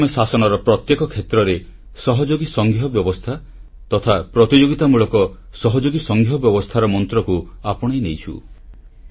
ଆଜି ଆମେ ଶାସନର ପ୍ରତ୍ୟେକ କ୍ଷେତ୍ରରେ ସହଯୋଗୀ ସଂଘୀୟ ବ୍ୟବସ୍ଥା ତଥା ପ୍ରତିଯୋଗିତାମୂଳକ ସହଯୋଗୀ ସଂଘୀୟ ବ୍ୟବସ୍ଥାର ମନ୍ତ୍ରକୁ ଆପଣେଇ ନେଇଛୁ